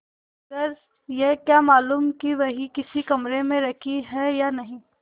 मगर यह क्या मालूम कि वही उसी कमरे में रखी है या नहीं